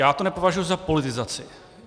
Já to nepovažuji za politizaci.